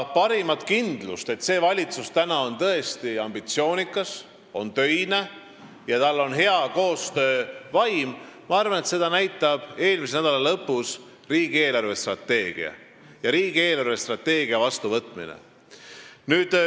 Parimat kindlust, et see valitsus on tõesti ambitsioonikas ja töine ning tal on hea koostöövaim, näitab minu arvates eelmise nädala lõpus arutatud riigi eelarvestrateegia ja selle vastuvõtmine.